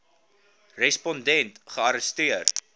respon dent gearresteer